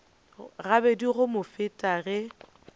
gabedi go mo feta ge